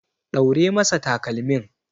Ɗaure masa takalmin.